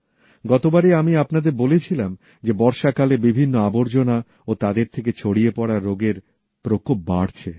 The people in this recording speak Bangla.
গতবারে আমি আপনাদের বলেছিলাম যে বর্ষাকালে বিভিন্ন আবর্জনা ও তাদের থেকে ছড়িয়ে পড়া রোগের প্রকোপ বাড়ছে